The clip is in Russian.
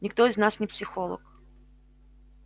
никто из нас не психолог